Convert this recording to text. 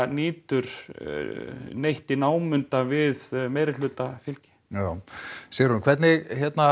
nýtur neins í námunda við meirihlutafylgi já Sigrún hvernig